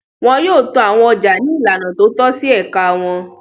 Wọn yóò to àwọn ọjà ní ìlànà tó tọ́ sí ẹ̀ka wọn.